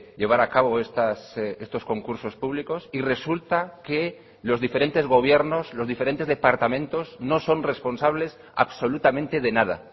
llevar a cabo estos concursos públicos y resulta que los diferentes gobiernos los diferentes departamentos no son responsables absolutamente de nada